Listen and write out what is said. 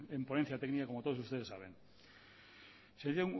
de ley en ponencia técnica como todos ustedes saben se